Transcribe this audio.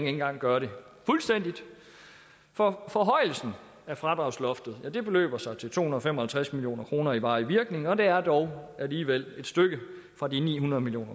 engang gøre det fuldstændigt for forhøjelsen af fradragsloftet beløber sig til to hundrede og fem og halvtreds million kroner i varig virkning og det er dog alligevel et stykke fra de ni hundrede million